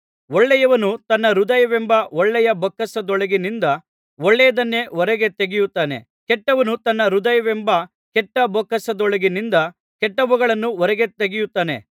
ಒಳ್ಳೆಯವನು ತನ್ನ ಹೃದಯವೆಂಬ ಒಳ್ಳೆಯ ಬೊಕ್ಕಸದೊಳಗಿನಿಂದ ಒಳ್ಳೆಯದನ್ನೇ ಹೊರಗೆ ತೆಗೆಯುತ್ತಾನೆ ಕೆಟ್ಟವನು ತನ್ನ ಹೃದಯವೆಂಬ ಕೆಟ್ಟ ಬೊಕ್ಕಸದೊಳಗಿನಿಂದ ಕೆಟ್ಟವುಗಳನ್ನು ಹೊರಗೆ ತೆಗೆಯುತ್ತಾನೆ